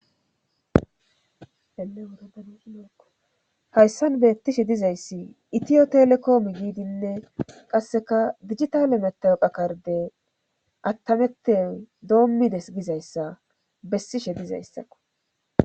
Helewuradako hayssan beettishe dizayssi itiyo telekoomi giidinne qasseka digitale metew phakarde attametey doommides gizayssa bessishe dizayssakko.